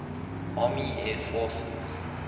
army air forces